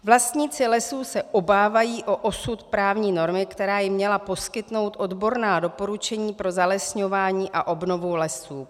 Vlastníci lesů se obávají o osud právní normy, která jim měla poskytnout odborná doporučení pro zalesňování a obnovu lesů.